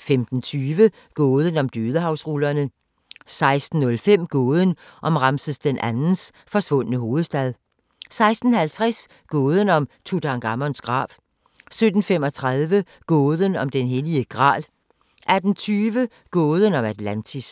15:20: Gåden om Dødehavsrullerne 16:05: Gåden om Ramses II's forsvundne hovedstad 16:50: Gåden om Tutankhamons grav 17:35: Gåden om den hellige gral 18:20: Gåden om Atlantis